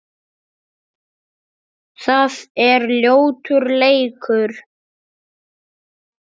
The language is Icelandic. Það er ljótur leikur.